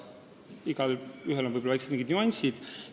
Igal riigil on vaid oma väikesed nüansid.